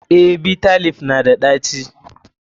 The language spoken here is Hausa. Eh, Bitter leaf na da ɗaci.